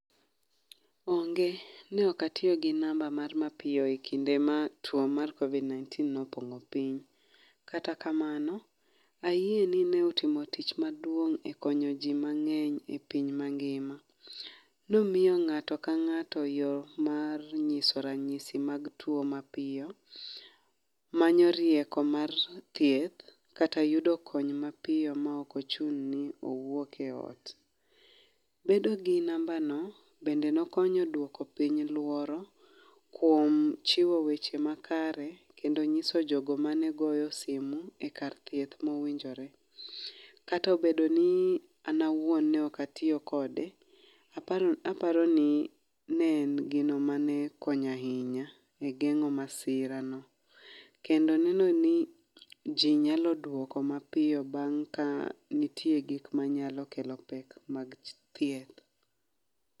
Onge, ne ok atiyo gi namba mar mapiyo e kinde ma tuo mar Covid-19 ne opong'o piny. Kata kamano, ayie ni ne utimo tich maduong' e konyo ji mang'eny e piny mangima. Ne omiyo ng'ato ka ng'ato e yo mar nyiso ranyisi mag tuo mapiyo, manyo rieko mar thieth kata yudo kony mapiyo maok ochuno ni owuok e ot. Bedo gi nambano bende ne okonyo duoko piny luoro kuom chiwo weche ma kare kendo nyiso jogo mane goyo simu e kar thieth mowinjore. Kata obedo ni an awuon ne ok atiyo kode, aparo aparo ni ne en gino mane konyo ahinya e geng'o masirano. Kendo neno ni ji nyalo duoko mapiyo bang' ka nitie gik manyalo kelo pek mag thieth.